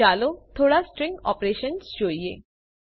ચાલો થોડા string operations જોઈએ